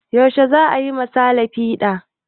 Yaushe za a yi ma sale fiɗa?